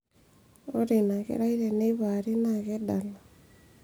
ore ina kerai teneipaari naa kedala